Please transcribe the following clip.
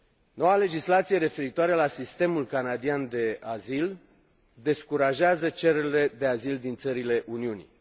Noua legislație referitoare la sistemul canadian de azil descurajează cererile de azil din țările Uniunii.